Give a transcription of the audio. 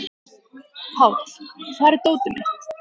Páll, hvar er dótið mitt?